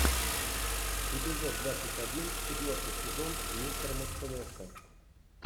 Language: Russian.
эпизод двадцать один четвертый сезон мистер мерседеса